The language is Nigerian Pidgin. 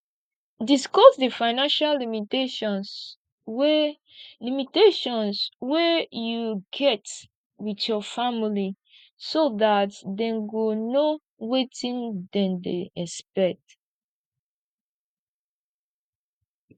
discuss di financial limitations wey limitations wey you get with your family so dat dem go know wetin dem dey expect